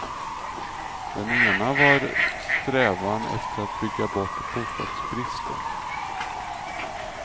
Den ena var strävan efter att bygga bort bostadsbristen.